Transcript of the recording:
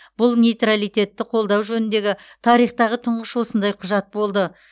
бұл нейтралитетті қолдау жөніндегі тарихтағы тұңғыш осындай құжат болды